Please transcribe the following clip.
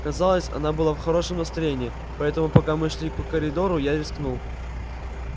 казалось она была в хорошем настроении поэтому пока мы шли по коридору я рискнул